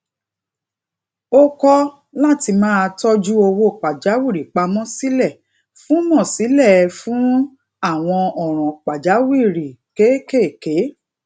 ó kó láti máa tójú owó pàjáwìrì pa mó sílé fún mó sílé fún àwọn òràn pàjáwìrì kéékèèké